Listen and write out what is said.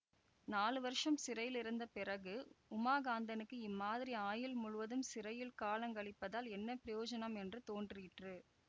நாலு வருஷம் சிறையிலிருந்த பிறகு உமாகாந்தனுக்கு இம்மாதிரி ஆயுள் முழுவதும் சிறையில் காலங்கழிப்பதால் என்ன பிரயோஜனம் என்று தோன்றிற்று